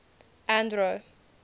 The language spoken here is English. andro